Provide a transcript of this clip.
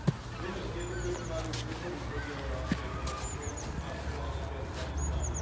Vieme, že tieto firmy majú kľúčový podiel na našej ekonomike a sú aj najviac zraniteľné.